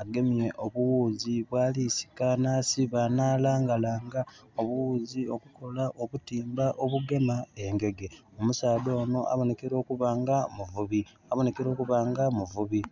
Agemye obughuzi bwali sika nasiba na langa langa obughuzi obukola obutimba obugema engege. Omusaadha ono abonekera okuba nga omuvubi...abonekera okuba nga muvubi.